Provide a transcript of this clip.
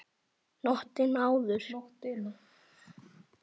Nóttina áður!